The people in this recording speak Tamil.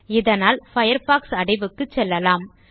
இதனால் பயர்ஃபாக்ஸ் அடைவுக்கு செல்லலாம்